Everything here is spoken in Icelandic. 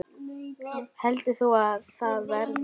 Heldur þú að það verði?